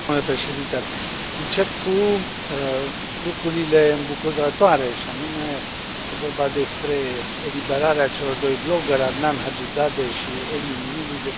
Încep cu lucrurile îmbucurătoare, și anume este vorba despre eliberarea celor doi bloggeri, Adnan Hajizade și Emin Mili, despre care am discutat aici.